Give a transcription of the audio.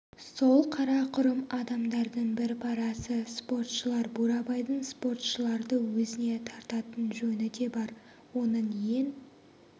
сол қарақұрым адамдардың бір парасы спортшылар бурабайдың спортшыларды өзіне тартатын жөні де бар оның ең